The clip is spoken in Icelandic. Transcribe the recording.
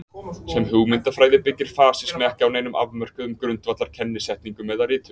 sem hugmyndafræði byggir fasismi ekki á neinum afmörkuðum grundvallar kennisetningum eða ritum